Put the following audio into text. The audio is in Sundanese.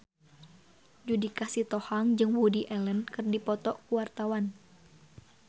Judika Sitohang jeung Woody Allen keur dipoto ku wartawan